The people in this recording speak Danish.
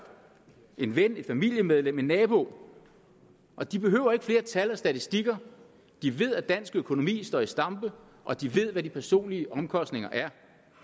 en ven et familiemedlem en nabo og de behøver ikke flere tal og statistikker de ved at dansk økonomi står i stampe og de ved hvad de personlige omkostninger er